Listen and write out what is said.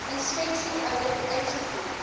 inspeksie oudit uitgevoer